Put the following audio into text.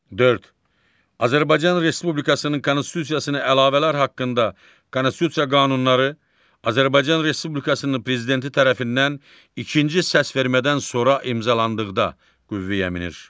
Azərbaycan Respublikasının konstitusiyasına əlavələr haqqında konstitusiya qanunları Azərbaycan Respublikasının Prezidenti tərəfindən ikinci səsvermədən sonra imzalandıqda qüvvəyə minir.